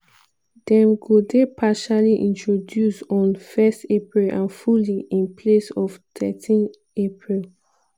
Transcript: dem go dey partially introduced on 1 april and fully in place on thirteen april.